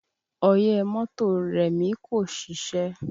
Ọyẹ́ mọ́tò Remi kò ṣiṣẹ́